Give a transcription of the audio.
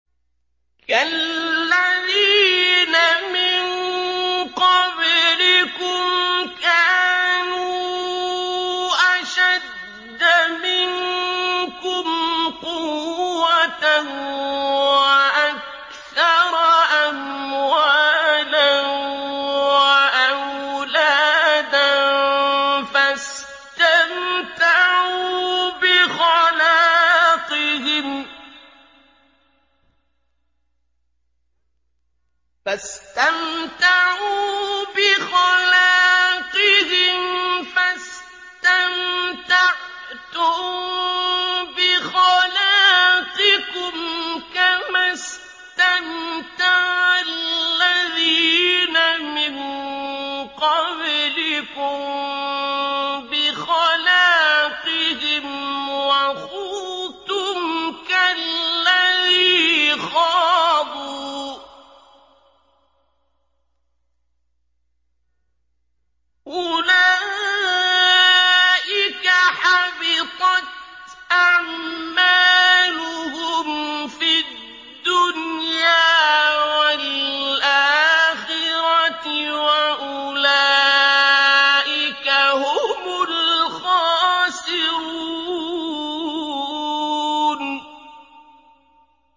كَالَّذِينَ مِن قَبْلِكُمْ كَانُوا أَشَدَّ مِنكُمْ قُوَّةً وَأَكْثَرَ أَمْوَالًا وَأَوْلَادًا فَاسْتَمْتَعُوا بِخَلَاقِهِمْ فَاسْتَمْتَعْتُم بِخَلَاقِكُمْ كَمَا اسْتَمْتَعَ الَّذِينَ مِن قَبْلِكُم بِخَلَاقِهِمْ وَخُضْتُمْ كَالَّذِي خَاضُوا ۚ أُولَٰئِكَ حَبِطَتْ أَعْمَالُهُمْ فِي الدُّنْيَا وَالْآخِرَةِ ۖ وَأُولَٰئِكَ هُمُ الْخَاسِرُونَ